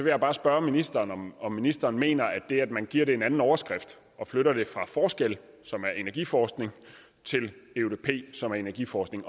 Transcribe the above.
jeg bare spørge ministeren om om ministeren mener at det at man giver det en anden overskrift og flytter det fra forskel som er energiforskning til eudp som er energiforskning